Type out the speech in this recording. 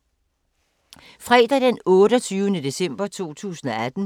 Fredag d. 28. december 2018